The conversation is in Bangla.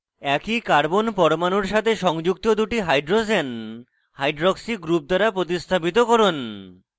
একই carbon পরমাণুর সাথে সংযুক্ত দুটি hydrogens hydroxy group দ্বারা প্রতিস্থাপিত করুন